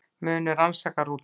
Munu rannsaka rútuna